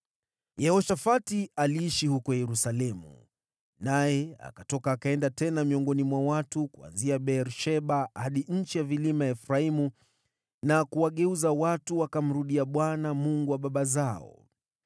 Yehoshafati aliishi huko Yerusalemu, naye akatoka akaenda tena miongoni mwa watu, kuanzia Beer-Sheba hadi nchi ya vilima ya Efraimu na kuwageuza wakamrudia Bwana , Mungu wa baba zao.